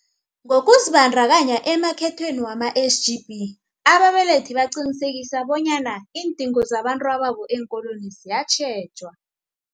Ngokuzibandakanya emakhethweni wama-SGB, ababelethi baqinisekisa bonyana iindingo zabentababo eenkolweni ziyatjhejwa.